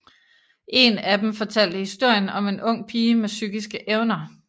En af dem fortalte historien om en ung pige med psykiske evner